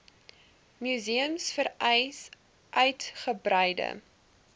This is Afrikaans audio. museums vereis uitgebreide